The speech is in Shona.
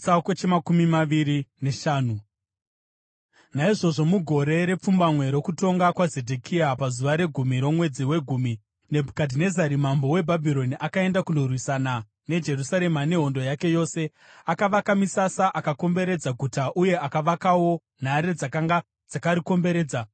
Naizvozvo mugore repfumbamwe rokutonga kwaZedhekia, pazuva regumi romwedzi wegumi, Nebhukadhinezari mambo weBhabhironi akaenda kundorwisana neJerusarema nehondo yake yose. Akavaka misasa akakomberedza guta uye akavakawo nhare dzakanga dzakarikomberedza.